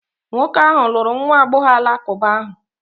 Nwoke ahụ lụrụ nwa agbọghọ Alakụba ahụ.